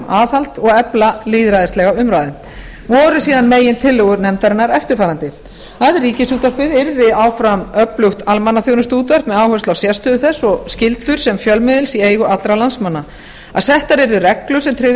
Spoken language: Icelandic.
aðhald og efla lýðræðislega umræðu voru síðan megintillögur nefndarinnar eftirfarandi að ríkisútvarpið yrði áfram öflugt almannaþjónustuútvarp með áherslu á sérstöðu þess og skyldur sem fjölmiðils í eigu allra landsmanna að settar yrðu reglur sem tryggðu